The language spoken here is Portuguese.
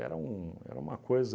um uma coisa...